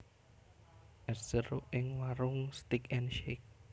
Es jeruk ning Waroenk Steak and Shake